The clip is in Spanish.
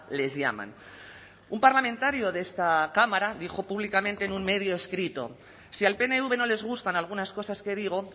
les llaman un parlamentario de esta cámara dijo públicamente en un medio escrito si al pnv no les gustan algunas cosas que digo